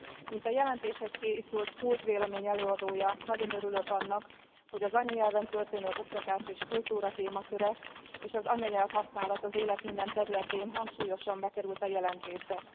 Mint a jelentéshez készült CULT bizottsági vélemény előadója, nagyon örülök annak, hogy az anyanyelven történő oktatás és kultúra témaköre és az anyanyelvhasználat az élet minden területén hangsúlyosan bekerült a jelentésbe.